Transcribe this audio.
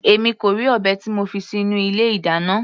Èmi kò rí ọ̀bẹ tí mo fi sínú ilé ìdáná.